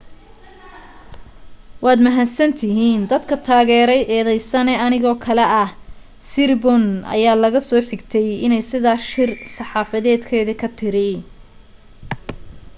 "waad mahadsantihiin dadka taageray eedeysane anigoo kale ah siriporn ayaa laga soo xigtay iney sidaa shir saxaafadeedki ka tiri.